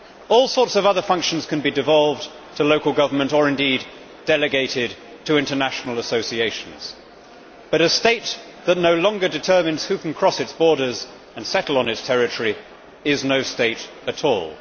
All sorts of other functions can be devolved to local government, or indeed delegated to international associations, but a state that no longer determines who can cross its borders and settle on its territory is no state at all.